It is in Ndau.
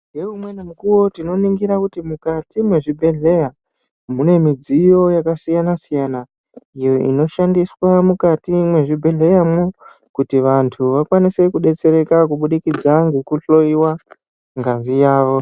Ngeumweni mikuwo tinoningira kuti mukati mwezvibhedhleya, mune midziyo yakasiyana-siyana, iyo inoshandiswa mukati mwezvibhedhleyamwo, kuti vanthu vakwanise kudetsereka kubudikidza ngekuhloiwa ngazi yawo.